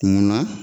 Kunna